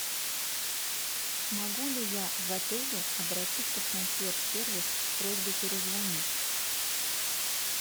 могу ли я в отеле обратиться в консьерж сервис с просьбой перезвонить